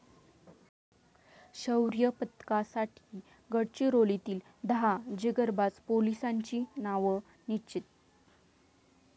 शौर्यपदकासाठी गडचिरोलीतील दहा जिगरबाज पोलिसांची नाव निश्चित